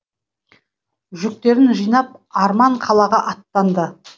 жүктерін жинап арман қалаға аттанды